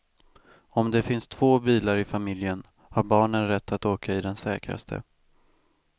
Om det finns två bilar i familjen, har barnen rätt att åka i den säkraste.